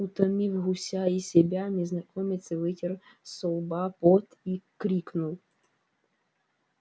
утомив гуся и себя незнакомец вытер со лба пот и крикнул